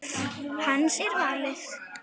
Hans er valið.